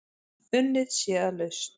Unnið sé að lausn.